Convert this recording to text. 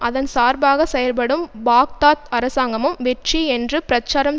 அதன் சார்பாக செயல்படும் பாக்தாத் அரசாங்கமும் வெற்றி என்று பிரச்சாரம்